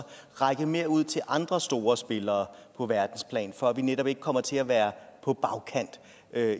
række mere ud til andre store spillere på verdensplan for at vi netop ikke kommer til at være på bagkant